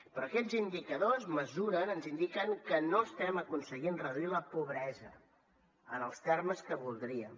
però aquests indicadors mesuren ens indiquen que no estem aconseguint reduir la pobresa en els termes que voldríem